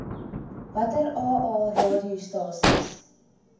watter aa radiostasies